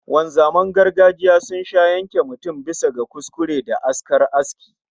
Wanzaman gargajiya sun sha yanke mutum bisa kuskure da askar aski